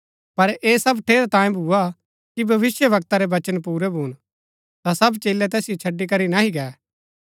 पर ऐह सब ठेरै तांयें भुआ कि भविष्‍यवक्ता रै वचन पुरै भून ता सब चेलै तैसिओ छड़ी करी नह्ही गै